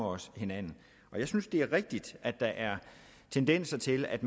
os hinanden og jeg synes det er rigtigt at der er tendenser til at